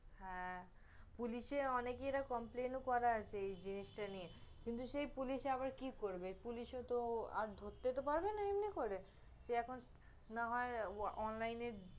হ্যাঁ, পুলিশে অনেকে এরা complain করা আছে এই জিনিসটা নিয়ে, কিন্তু সেই পুলিশে আবার কি করবে, পুলিশে তহ আর ধরতে তহ পারবে না এমনি করে, সে এখন না হয় online